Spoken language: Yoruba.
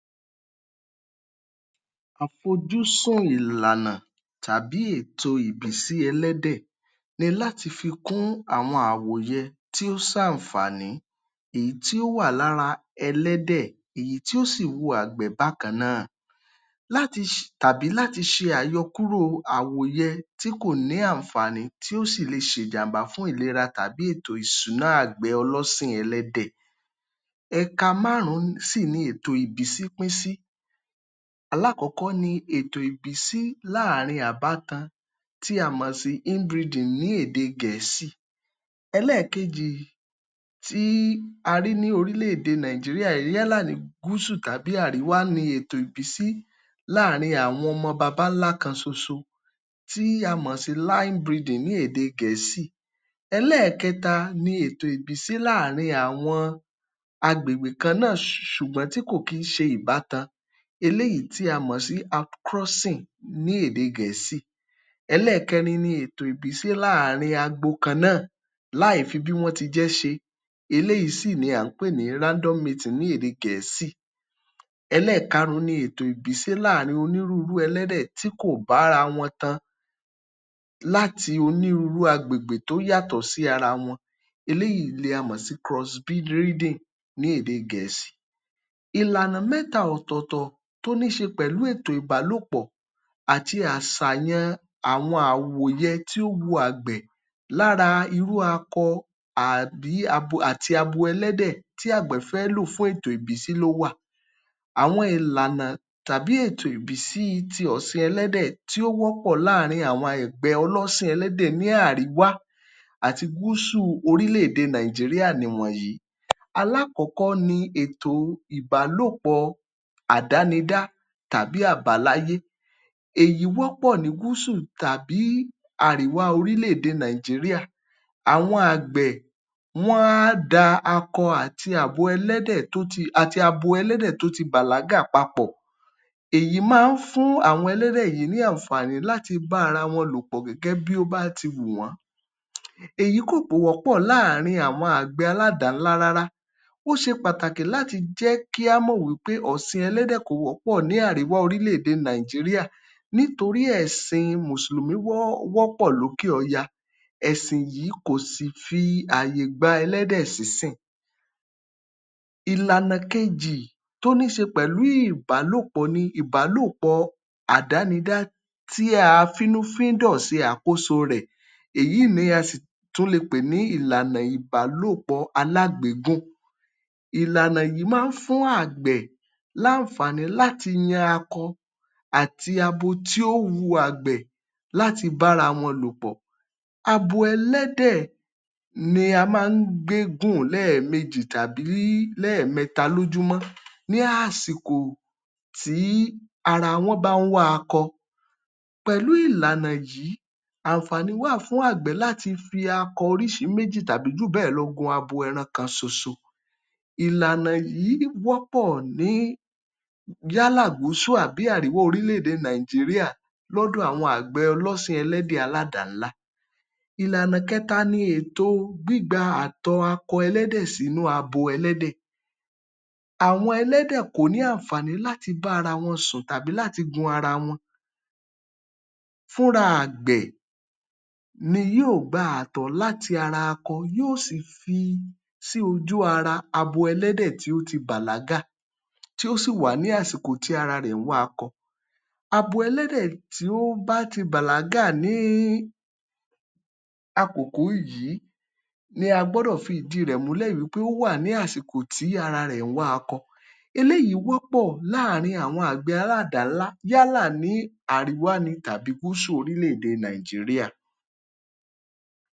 Àfojúsùn ìlànà tàbí ètò ìbísí ẹ̀lẹ́dẹ̀ ni láti fi kún àwọn àwòyẹ tí ó ṣàǹfààní èyí tí ó wà lára ẹ̀lẹ́dẹ̀ èyí tí yóò sì wo àgbẹ̀ bákan náà tàbí láti ṣe àyọ̀kúrò àwòyẹ tí kò ní àǹfààní sí ìlera tàbí ètò ìsúná àgbẹ̀ ọlọ́sìñ ẹlẹ́dẹ̀. Ẹka márùn-ún sì ni ètò ìbísí pín sí. Alákọ̀ọ́ ni ètò ìbísí láàrin àbátan tí o mọ̀ sí in-breeding ní èdè Gẹ̀ẹ́sì. Ẹlẹ́ẹ̀kejì tí a rí ní orílẹ̀-èdè Nàìjiríà yálẹ̀ ní Gúsù tàbí Àríwá ni ètò ìbísí láàrin àwọn ọmọ babá ńlá kan soso tí a mọ̀ sí line-breeding ní èdè Gẹ̀ẹ́sì. Ẹlẹ́ẹ̀kẹta ni ètò ìbísí láàrin àwọn agbègbè kan náà ṣùgbọ́n tí kò kí ń sẹ ìbátan eléyìí tí a mọ̀ sí acrossing ní èdè Gẹ̀ẹ́sì. Ẹlẹ́ẹ̀kẹrin ni ètò ìbísí ní agbo kan náà láìfi fi bí wọ́n ti jẹ́ ṣe eléyìí ni èyí tí à ń pè ní random breeding ní èdè Gẹ̀ẹ́sì. Ẹlẹ́ẹ̀karùn-ún ni ètò ìbísí láàrin onírúurú ẹ̀lẹ́dẹ̀ tí kò bára wọn tan láti onírúurú agbègbè tó yàtọ̀ sí ara wọn eléyìí ni a mọ̀ sí cross breeding ní èdè Gẹ̀ẹ́sì. Ìlànà mẹ́tà ọ̀tọ̀ọ̀tọ̀ tó níí ṣe pẹ̀lú ètò ìbálòpọ̀ àti áṣàyàn àwọn àwòyẹ tí ó wọ àgbẹ̀ lára irú akọ àti abo ẹlẹ́dẹ̀ tí àgbẹ̀ fẹ́ fún ètò ìbísì ló wà. Àwọn ìlànà tàbí ètò ìbísí ti ọ̀sìn ẹ̀lẹ́dẹ̀ tí ó wọ̀pọ̀ láàrin àwọn àgbẹ̀ ọ̀sìn ẹ̀lẹ́dẹ̀ ní àríwà àti gúsù orílẹ̀-èdè Nàìjíríà nìwọ̀nyí. Alákọ̀ọ́kọ ni ètò ìbálòpọ̀ àdánidá tàbí àbáláyé, èyí wọ́pọ̀ ní gúsù tàí àríwá orílẹ̀-èdè Nàìjíríà. Àwọn àgbè wọ́n á da akọ àti àbo ẹ̀lẹ́dẹ̀ abo ẹ̀lẹ́dẹ̀ tó ti bàlágà papọ̀. Èyí máa ń fún àwọn ẹ̀lẹ́dẹ̀ yìí ní àǹfààní láti bára wọn lò pọ̀ gẹ́gẹ́ bí ó bá ti wù wọ́n. Èyí kò wọ́pọ̀ láàrin àwọn àgbẹ̀ aládàá-ńlá rárá. Ó ṣe pàtàkì kí mọ̀ wí pé èyí kò wọ́pọ̀ ní àríwá orílẹ̀-èdè Nàìjíríà nítorí èsìn mùsùlùmí wọ́pọ̀ lókè ọya. Ẹ̀sìn yìí kò sì fààyè gba ẹlẹ́dẹ̀ sísìn. Ìlànà kejì tó níí ṣe pẹ̀lú ìbálòpọ̀ ni ìbálòpọ̀ àdánidá tí a finúfíndọ̀ ṣe àkóso rẹ̀. Èyí n ni a sì tún le pè ní ìlànà ìbálòpọ̀ alágbèégún. Ìlànà yìí máa ń fún àwọn àgbẹ̀ ní láǹfàá̀ní láti yan akọ àti abo tó wu àgbẹ̀ láti bára wọn lò pọ̀. Abo ẹlẹ́dẹ̀ ni a máa ń gbégùn lẹ́ẹ̀mejì tàbí lẹ́ẹ̀mẹta lójúmọ́ ní àsìkò tí ara wọ́n bá ń wá akọ. Pẹ̀lú ìlànà yìí àǹfàání wà fún àgbẹ̀ láti fi akọ oríṣi méjì tàí jù bẹ́ẹ̀ lọ láti gun abo ẹran kan ṣoṣo. Ìlànà yìí wọ́pọ̀ ní gúsù tàbí àríwá orílẹ̀-èdè Nàìjíríà lọ́dọ̀ àwọn àgbẹ̀ ọ̀sìn ẹlẹ́dẹ̀ aládàá-ńlá. Ìlànà ìkẹta ni gbígba àtọ̀ akọ ẹlẹ́dẹ̀ sí ara abo ẹlẹ́dẹ̀. Àwọn ẹlẹ́dẹ̀ kò ní àǹfààní láti bára wọn sùn tàbí láti gun ara wọn. Fúnra àgbẹ̀ ni yóò gba àtọ̀ láti ara akọ tí yóò sì fí sí ojú-ara abo ẹlẹ́dẹ̀ tí ó ti bàlágà, tí ó sì wà ní àsìkò tí ara rẹ̀ ń wá akọ. Abo tí ó bá ti bàlágà ní àkókò yìí ni a gbọ́dọ̀ fidí rẹ̀ múlẹ̀ wí pé ó wà ní àsìkò tí ara rẹ̀ ń wá akọ. Eléyìí wọ́pọ̀ láàrin àwọn àgbẹ̀ aládàá-ńlá yálà ní àríwá tàbí gúsù orílẹ̀-èdè Nàìjíríà.